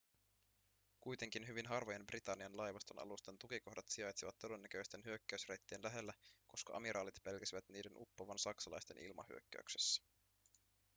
kuitenkin hyvin harvojen britannian laivaston alusten tukikohdat sijaitsivat todennäköisten hyökkäysreittien lähellä koska amiraalit pelkäsivät niiden uppoavan saksalaisten ilmahyökkäyksessä